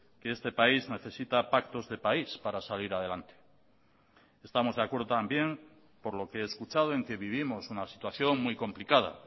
que este país necesita pactos de país para salir adelante estamos de acuerdo también por lo que he escuchado en que vivimos una situación muy complicada